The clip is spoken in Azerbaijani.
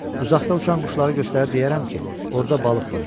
Uzaqda uçan quşları göstərib deyərəm ki, orda balıq var.